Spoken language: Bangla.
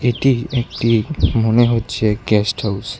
এটি একটি মনে হচ্ছে গেস্ট হাউস ।